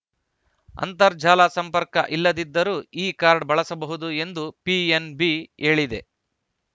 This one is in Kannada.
ಅಂತರ್ಜಾಲ ಸಂಪರ್ಕ ಇಲ್ಲದಿದ್ದರೂ ಈ ಕಾರ್ಡ್‌ ಬಳಸಬಹುದು ಎಂದು ಪಿಎನ್‌ಬಿ ಹೇಳಿದೆ